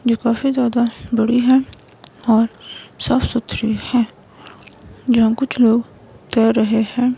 जो काफी ज्यादा बड़ी है और साफ सुथरी है यहां कुछ लोग कर रहे हैं।